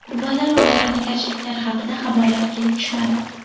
Qurbonlar va vayronagarchiliklar haqida xabarlar kelib tushmadi.